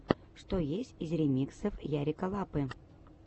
что есть из ремиксов ярика лапы